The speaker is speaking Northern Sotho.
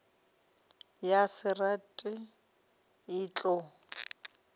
ya se rage e tlo